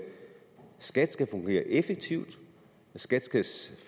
skat skal fungere effektivt og at skat